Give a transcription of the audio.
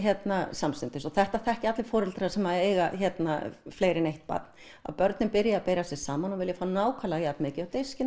samstundis þetta þekkja allir foreldrar sem eiga fleiri en eitt barn að börnin byrja að bera sig saman og vilja fá nákvæmlega jafn mikið á diskinn